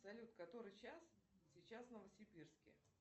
салют который час сейчас в новосибирске